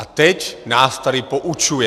A teď nás tady poučuje.